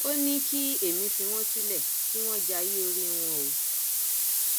ó ní kí èmi fi wọn sílẹ kí wọn jayé orí wọn o